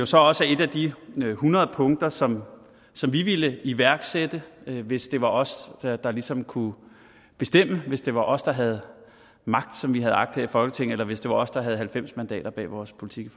så også er et af de hundrede punkter som som vi ville iværksætte hvis det var os der ligesom kunne bestemme hvis det var os der havde magt som vi har agt her i folketinget eller hvis det var os der havde halvfems mandater bag vores politik